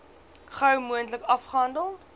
gou moontlik afgehandel